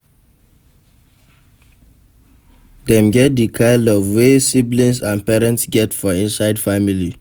Dem get di kind love wey siblings and parents get for inside family